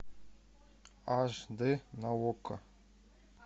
аш дэ на окко